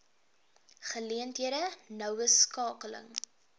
geleenthede noue skakeling